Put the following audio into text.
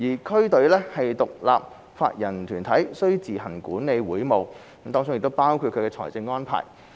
區隊是獨立法人團體，須自行管理會務，包括其財務安排。